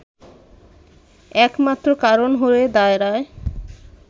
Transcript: একমাত্র কারণ হয়ে দাঁড়ায়